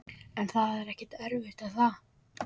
En það er ekkert erfitt er það?